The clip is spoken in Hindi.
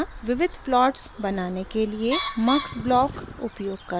* विविध प्लॉट्स बनाने के लिए mux ब्लॉक उपयोग करना